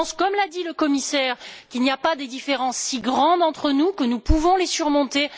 Je pense, comme l'a dit le commissaire, qu'il n'y a pas des différences si grandes entre nous, que nous pouvons les surmonter.